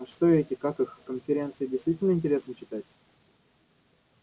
а что эти как их конференции действительно интересно читать